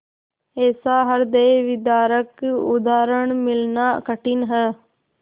ऐसा हृदयविदारक उदाहरण मिलना कठिन है